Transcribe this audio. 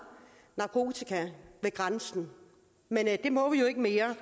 narkotika ved grænsen men det må vi jo ikke mere